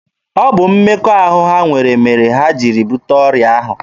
Ọ bụ mmekọahụ ha nwere mere ha jiri bute ọrịa ahụ.